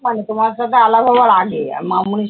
তোমার সাথে আলাপ হওয়ার আগে। আর মামনির সা